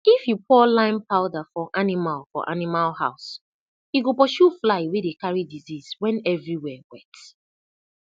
if you pour lime powder for animal for animal house e go pursue fly wey dey carry disease when everywhere wet